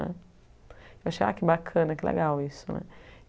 Eu achei que bacana, que legal isso né.